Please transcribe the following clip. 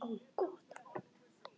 Hún er ennþá hjá afa og ömmu.